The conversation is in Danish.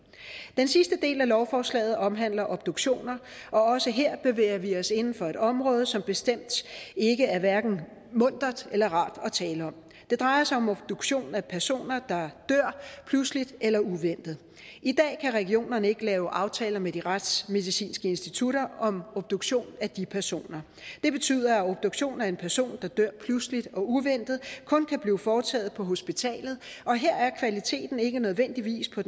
den sidste del af lovforslaget omhandler obduktioner og også her bevæger vi os inden for et område som bestemt hverken er muntert eller rart at tale om det drejer sig om obduktion af personer der dør pludseligt eller uventet i dag kan regionerne ikke lave aftaler med de retsmedicinske institutter om obduktion af de personer det betyder at obduktion af en person der dør pludseligt og uventet kun kan blive foretaget på hospitalet og her er kvaliteten ikke nødvendigvis på